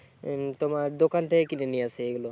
তোমার দোকান থেকে কিনে নিয়ে আসে এইগুলো